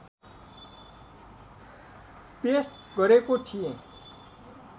paste गरेको थिएँ